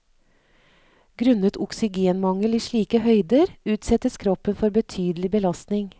Grunnet oksygenmangel i slike høyder, utsettes kroppen for betydelig belastning.